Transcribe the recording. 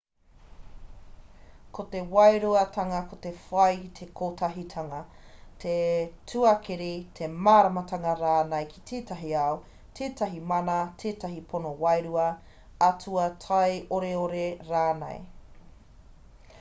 ko te wairuatanga ko te whai i te kotahitanga te tuakiri te māramatanga rānei ki tētahi ao tētahi mana tētahi pono wairua atua taioreore rānei